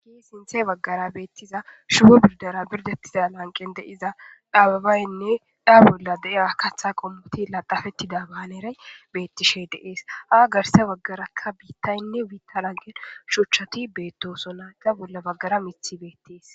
ki sinthe baggara beettiza shuwo birdara birdettiza lanqen deiza dhaababaynne dhaa bolla deiya katha qommoti laqafettida baaneray beettishe deees haa garse baggarakka biittaynne wiitta lanqe shuchchati beettosona da bolla baggara mithi beettees